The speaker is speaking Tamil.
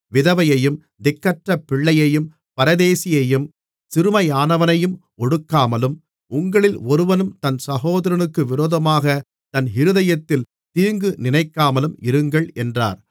விதவையையும் திக்கற்ற பிள்ளையையும் பரதேசியையும் சிறுமையானவனையும் ஒடுக்காமலும் உங்களில் ஒருவனும் தன் சகோதரனுக்கு விரோதமாகத் தன் இருதயத்தில் தீங்கு நினைக்காமலும் இருங்கள் என்றார்